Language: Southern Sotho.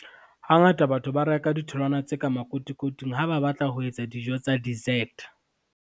Hangata batho ba reka ditholwana tse ka makotikoting ha ba batla ho etsa dijo tsa dessert.